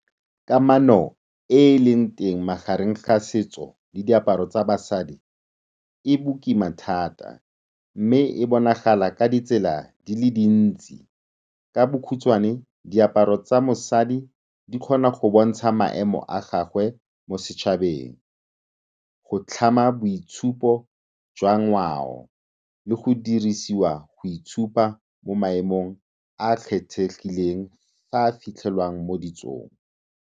Kamano e e leng teng magareng ga setso le diaparo tsa basadi e bokima thata mme e bonagala ka ditsela di le dintsi. Ka bokhutshwane, diaparo tsa mosadi di kgona go bontsha maemo a gagwe mo setšhabeng, go tlhama boitshupo jwa ngwao le go dirisiwa go itshupa mo maemong a a kgethegileng a a fitlhelwang mo ditsong.